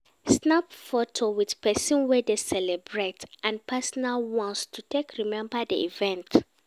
Snap photo with persin wey dey celebrate and personal ones to take remember di event